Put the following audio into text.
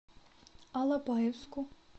алапаевску